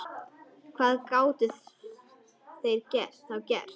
Hvað gátu þeir þá gert?